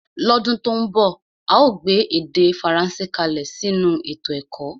lọ́dún tó ń bọ̀ a óò gbé èdè Faransé kalẹ̀ sínú ètò ẹ̀kọ́